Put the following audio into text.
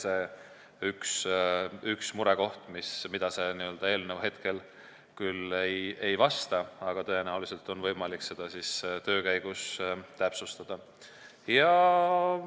See on üks murekoht, millega see eelnõu praegu küll ei tegele, aga tõenäoliselt on seda võimalik töö käigus täpsustada.